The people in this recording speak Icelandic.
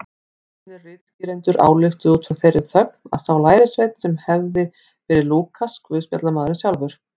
Fornir ritskýrendur ályktuðu út frá þeirri þögn að sá lærisveinn hefði verið Lúkas guðspjallamaður sjálfur.